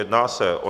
Jedná se o